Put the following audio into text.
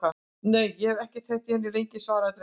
Nei, og ég hef ekki heyrt í henni lengi, sagði drengurinn.